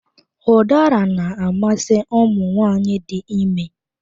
Ụdara na-amasị ụmụ nwaanyị dị ime